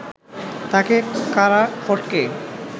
তাঁকে কারা ফটকে